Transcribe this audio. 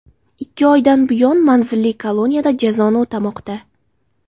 Ikki oydan buyon manzilli koloniyada jazoni o‘tamoqda.